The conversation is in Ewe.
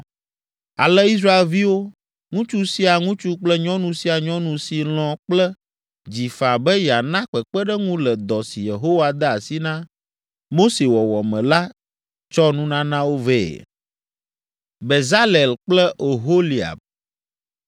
Ale Israelviwo, ŋutsu sia ŋutsu kple nyɔnu sia nyɔnu si lɔ̃ kple dzi faa be yeana kpekpeɖeŋu le dɔ si Yehowa de asi na Mose wɔwɔ me la tsɔ nunanawo vɛ.